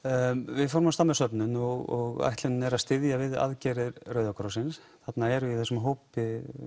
við fórum af stað með söfnun og ætlunin er að styðja við aðgerðir Rauða krossins þarna eru í þessum hópi